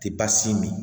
Te baasi min